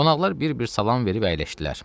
Qonaqlar bir-bir salam verib əyləşdilər.